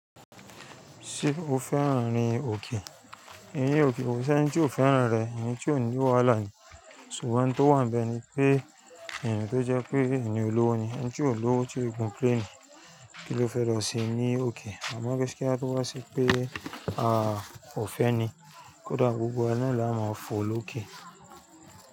Ṣé o fẹ́ràn rí òkè? Eyín òkè koó ṣe ẹ́nití ò fẹ́ràn rẹ̀, ẹnití ó ní wàhálà ni. Ṣùgbọ́n tó wà níbẹ̀ ni pé ẹ̀yin tó jẹ́ pé ènìyàn olówo ni, ẹ́ nítorí olówo tí ó gùn pẹ́ ni. Kí ló fẹ́ lọ sẹ̀ ní òkè? Àmọ́ kí á tó wá sí i pé a ò fẹ́ ẹ ni, kódà gbogbo wa náà la á máa fò lókè.